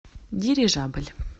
дирижабль